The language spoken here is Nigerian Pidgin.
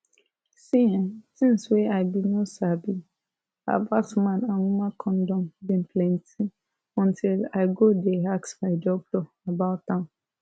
see[um]tins wey i bin no sabi about man and woman condom bin plenty until i go dey ask my doctor about am